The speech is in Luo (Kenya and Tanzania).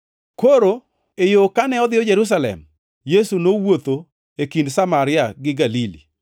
Koro e yo kane odhiyo Jerusalem, Yesu nowuotho e kind Samaria gi Galili.